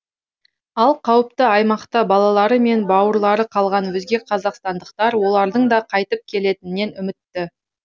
ал қауіпті аймақта балалары мен бауырлары қалған өзге қазақстандықтар олардың да қайтып келетінінен үмітті